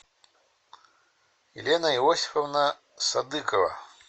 елена иосифовна садыкова